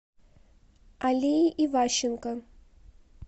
алии иващенко